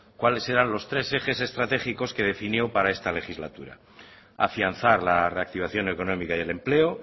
cuáles eran los tres ejes estratégicos que definió para esta legislatura afianzar la reactivación económica y el empleo